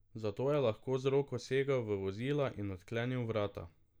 Zato je lahko z roko segel v vozila in odklenil vrata.